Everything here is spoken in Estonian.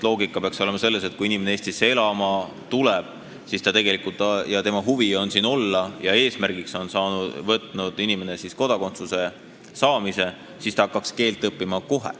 Loogika peaks olema selles, et kui inimene Eestisse elama tuleb, tal on huvi siin olla ja ta on võtnud eesmärgiks kodakondsuse saamise, siis ta hakkaks kohe keelt õppima.